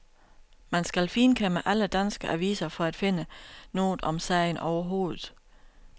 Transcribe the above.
Man skal finkæmme alle danske aviser for at finde noget om sagen overhovedet.